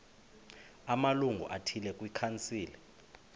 amalungu athile kwikhansile